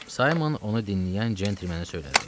Saymon onu dinləyən centlmenə söylədi.